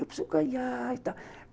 Eu preciso ganhar e tal.